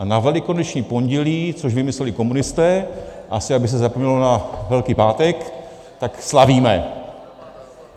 A na Velikonoční pondělí, to vymysleli komunisté, asi aby se zapomnělo na Velký pátek, tak slavíme.